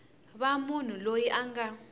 va munhu loyi a nga